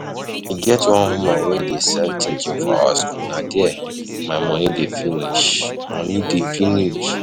E get one woman wey dey sell chin chin for our school, Na there my money dey finish money dey finish